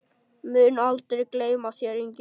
Mun aldrei gleyma þér, Ingi.